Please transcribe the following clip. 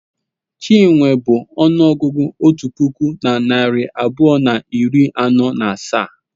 Chinwe bụ ọnụọgụgụ otu puku na narị abụọ na iri anọ na asaa.